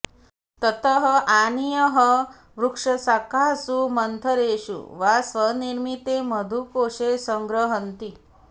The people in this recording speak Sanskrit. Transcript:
ततः आनीयः वृक्षशाखासु मन्थरेषु वा स्वनिर्मिते मधुकोषे सङ्ग्रह्णन्ति